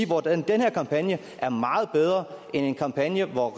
hvordan den kampagne er meget bedre end en kampagne hvor